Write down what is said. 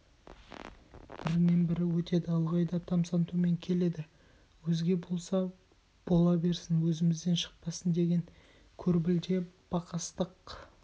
бірінен бірі өтеді ылғи да тамсантумен келеді өзге болса бола берсін өзімізден шықпасын деген көрбілте бақастық